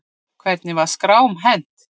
Hvernig er skrám hent?